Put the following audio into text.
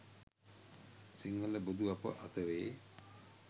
සිංහල බොදු අප අතරේ